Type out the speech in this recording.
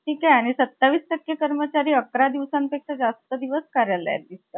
आणि अपेक्षा यांना तोंड द्यावं लागलं होतं. तरी सा~ तरी समाधानपणे त्यांच्या कार्याच्या सर्वत्र स्वीकार झाला होता.